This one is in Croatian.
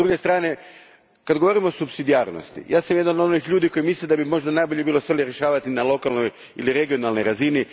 S druge strane, kad govorimo o supsidijarnosti, ja sam jedan od onih ljudi koji misle da bi možda najbolje bilo stvari rješavati na lokalnoj ili regionalno razini.